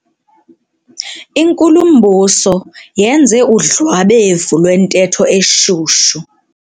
Inkulumbuso yenze udlwabevu lwentetho eshushu.